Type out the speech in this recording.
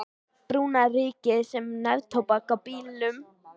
Brúna rykið sem neftóbak á bílnum.